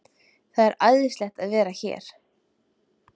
Það er æðislegt að vera hér.